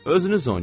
Özünüz oynayın.